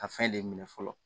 A fɛn de minɛ fɔlɔ